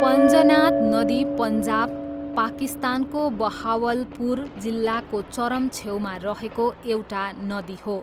पञ्जनाद नदी पन्जाब, पाकिस्तानको बहावलपुर जिल्लाको चरम छेउमा रहेको एउटा नदी हो।